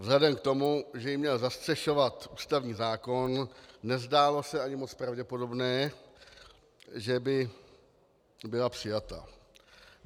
Vzhledem k tomu, že ji měl zastřešovat ústavní zákon, nezdálo se ani moc pravděpodobné, že by byla přijata.